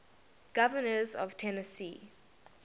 governors of tennessee